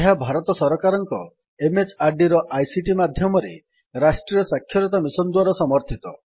ଏହା ଭାରତ ସରକାରଙ୍କ MHRDର ଆଇସିଟି ମାଧ୍ୟମରେ ରାଷ୍ଟ୍ରୀୟ ସାକ୍ଷରତା ମିଶନ୍ ଦ୍ୱାରା ସମର୍ଥିତ